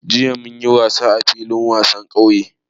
Jiya mun yi wasa a filin wasan ƙauye